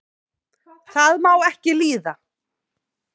það má ekki líða